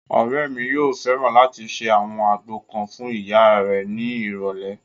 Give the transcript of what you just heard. Ọ̀rẹ́ mi yóò fẹ́ràn láti ṣe àwọn àgbo kan fún ìyá rẹ̀ ní ìrọ̀lẹ̀